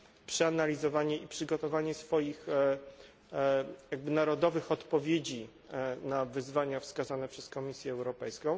przeanalizowanie i przygotowanie swoich jakby narodowych odpowiedzi na wyzwania wskazane przez Komisję Europejską.